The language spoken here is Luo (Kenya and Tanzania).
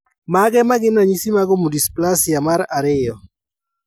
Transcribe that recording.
Mage magin ranyisi mag Omodysplasia mar ariyo